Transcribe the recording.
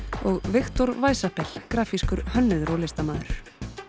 og Viktor grafískur hönnuður og listamaður